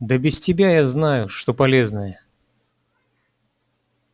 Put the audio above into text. да без тебя знаю что полезное